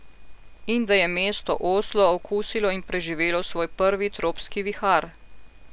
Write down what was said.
In da je mesto Oslo okusilo in preživelo svoj prvi tropski vihar.